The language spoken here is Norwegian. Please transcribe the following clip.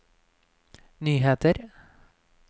nyheter